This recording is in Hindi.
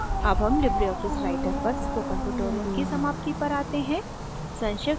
अब हम लिबरे आफिस writer पर spoken tutorial की समाप्ति पर आते हैं